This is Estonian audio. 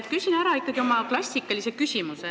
Küsin aga ikkagi ära oma klassikalise küsimuse.